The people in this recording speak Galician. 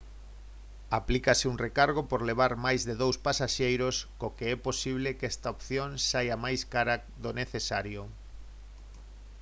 aplícase un recargo por levar máis de 2 pasaxeiros co que é posible que esta opción saia máis cara do necesario